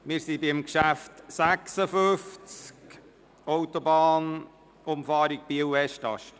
Wir sind beim Traktandum 56 verblieben, «Autobahnumfahrung Biel/Westast».